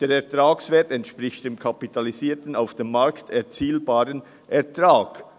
Der Ertragswert entspricht dem kapitalisierten, auf dem Markt erzielbaren Ertrag.